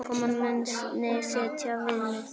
Útkoman muni setja viðmið.